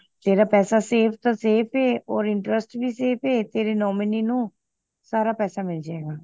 ਤੇਰਾ ਪੈਸਾ safe ਦਾ safe ਏ ਹੋਰ interest ਵੀ safe ਐ ਤੇਰੇ nominee ਨੂੰ ਸਾਰਾ ਪੈਸਾ ਮਿਲ ਜੇ ਗਾ